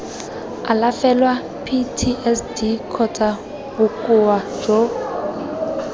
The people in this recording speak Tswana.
alafelwa ptsd kgotsa bokoa jo